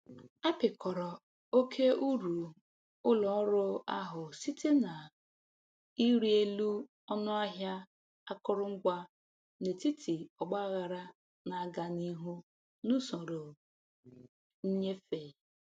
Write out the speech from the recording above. Apịkọrọ oke uru ụlọ ọrụ ahụ site na ịrị elu ọnụ ahịa akụrụngwa n'etiti ọgbaghara na-aga n'ihu n'usoro nnyefe.